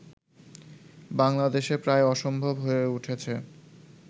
বাংলাদেশে প্রায় অসম্ভব হয়ে উঠেছে